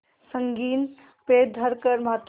संगीन पे धर कर माथा